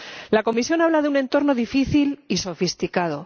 La Comisión habla de un entorno difícil y sofisticado